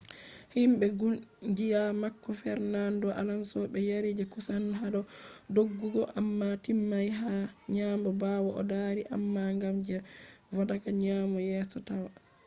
himbe kungiya mako fernando alonso be yari je kusan hado doggugo amma timmai hado nyamo bawo o dari amma gam je vodaka nyamo yeso taya